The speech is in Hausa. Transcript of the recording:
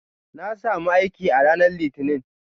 Na sami aiki a ranar Litinin.